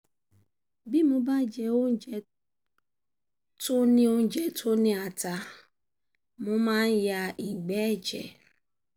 bí mo bá jẹ um oúnjẹ tó ní oúnjẹ tó ní ata mo máa ń um ya ìgbẹ́ ẹ̀jẹ̀